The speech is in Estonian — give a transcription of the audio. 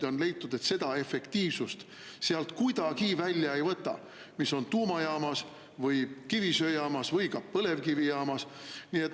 Ja on leitud, et seda efektiivsust, mis on tuumajaamas või kivisöejaamas või ka põlevkivijaamas, sealt kuidagi välja ei võta.